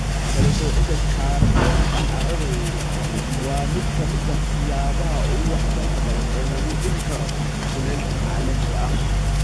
Kala soocida kaarboonka carradu waa mid ka mid ah siyaabaha ugu waxtarka badan ee lagu dhimi karo kulaylka caalamiga ah.